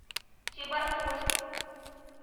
чебаркуль